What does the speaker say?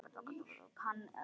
Hann að smíða.